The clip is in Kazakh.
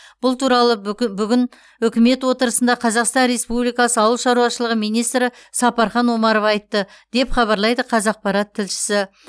бұл туралы бүгі бүгін үкімет отырысында қазақстан республикасы ауыл шаруашылығы министрі сапархан омаров айтты деп хабарлайды қазақпарат тілшісі